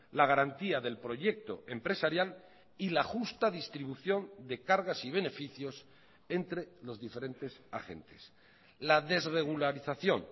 la garantía del proyecto empresarial y la justa distribución de cargas y beneficios entre los diferentes agentes la desregularización